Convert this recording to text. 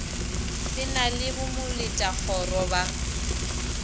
se na le bomoletakgoro ba